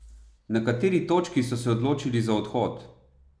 Na kateri točki so se odločili za odhod?